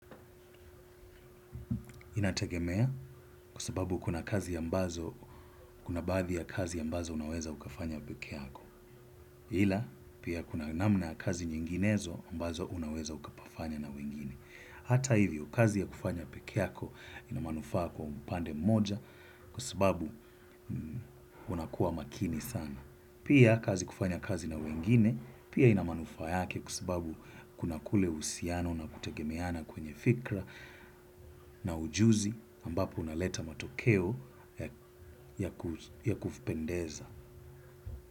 Inategemea kwa sababu kuna kazi ambazo, kuna badhi ya kazi ambazo unaweza ukafanya peke yako. Hila, pia kuna namna kazi nyinginezo ambazo unaweza ukafanya na wengine. Hata hivyo, kazi ya kufanya peke yako inamanufaa kwa mpande moja kwa sababu unakuwa makini sana. Pia kazi kufanya kazi na wengine, pia inamanufaa yake kwa sababu kuna kule usiano na kutegemeana kwenye fikra na ujuzi ambapo unaleta matokeo ya kufipendeza.